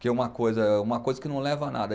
Que é uma coisa, é uma coisa que não leva a nada.